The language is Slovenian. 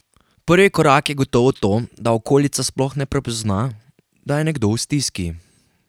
Prvi korak je gotovo to, da okolica sploh prepozna, da je nekdo v stiski.